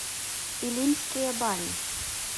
илимские бани